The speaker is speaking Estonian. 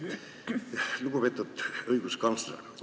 Lugupeetud õiguskantsler!